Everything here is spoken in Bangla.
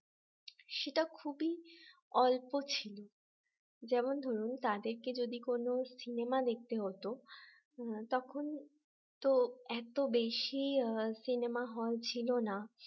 সেটা খুবই অল্প ছিল যেমন ধরুন তাদেরকে যদি কোন সিনেমা দেখতে হতো তখন তো এত বেশি সিনেমা হল ছিল না